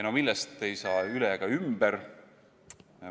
No millest ei saa üle ega ümber ...